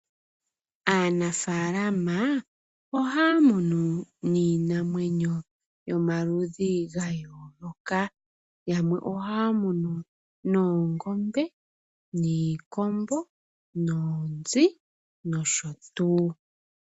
Aanafaalama ohaya munu iinamwenyo yomaludhi gayooloka ,yamwe ohaya munu noongombe, iikombo noonzi nosho tuu.